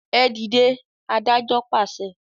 e dìde, adájọ pàṣẹ.